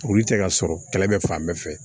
Olu tɛ ka sɔrɔ kɛlɛ bɛ fan bɛɛ fɛ